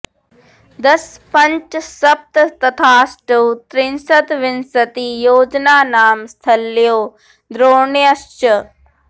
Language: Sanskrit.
दश पञ्च सप्त तथाष्टौ त्रिंशद् विंशति योजनानां स्थल्यो द्रोण्यश्च